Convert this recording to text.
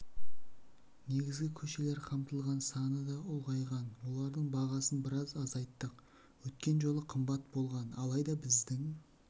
негізгі көшелер қамтылған саны да ұлғайған олардың бағасын біраз азайттық өткен жолы қымбат болған алайда біздің